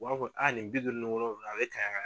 U b'a fɔ nin bi duuru ni wolonwula a bɛ ka